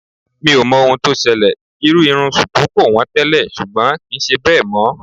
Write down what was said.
I don't know what happened, wearing shuku hairstyle used to be always cheap, but not anymore.